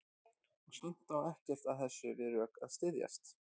Og samt á ekkert af þessu við rök að styðjast.